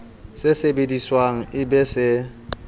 se sebediswang e be se